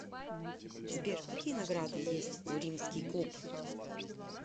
сбер какие награды есть у римский клуб